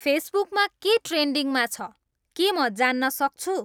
फेसबुकमा के ट्रेन्ड्रिङमा छ के म जान्न सक्छु